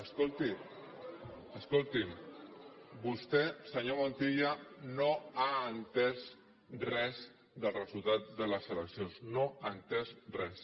escolti escolti’m vostè senyor montilla no ha entès res del resultat de les eleccions no ha entès res